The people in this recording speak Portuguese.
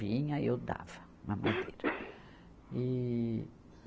Vinha, eu dava a madeira. e